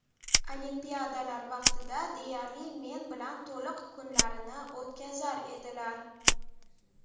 Olimpiadalar vaqtida deyarli men bilan to‘liq kunlarini o‘tkazar edilar.